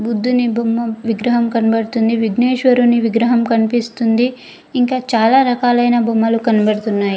బుద్దుని బొమ్మ విగ్రహం కనపడుతుంది విగ్నేశ్వరుని విగ్రహం కనిపిస్తుంది ఇంకా చాలా రకాలైన బొమ్మలు కనపడుతున్నాయి.